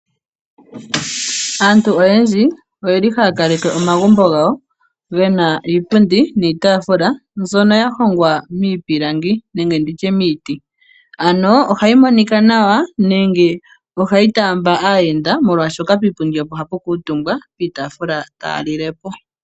Aantu oyendji oyeli haya kaleke mbyoka ya hongwa miipilangi nenge miiti molwaashoka piitundi opo hapu kuutumbwa piitaafula taya lilepo.